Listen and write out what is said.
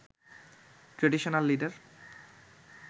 traditional leader